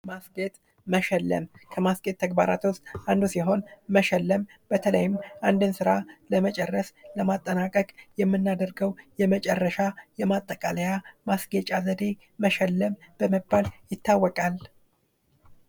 መስጌጥ መሽለም ከመስጌጥ ተግባራት ውስጥ አንዱ ሲሆን መሽለም በተለይም አንድን ስራ ለመጨረስ ለማጠናቀቅ የምናደርገው የመጨረሻ የማጠቃለያ ማስጌጫ ዘዴ መሸለም በመባል ይታወቃል።